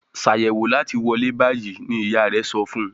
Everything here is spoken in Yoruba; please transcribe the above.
Ṣàyẹ̀wò láti wọlé bayí! ní ìyá rẹ sọfún.